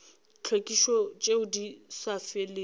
tlhwekišo tšeo di sa felego